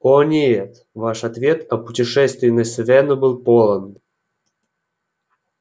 о нет ваш ответ о путешествии на сивенну был полон